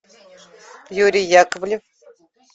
юрий яковлев